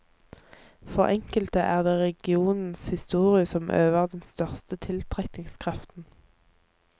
For enkelte er det regionens historie som øver den største tiltrekningskraften.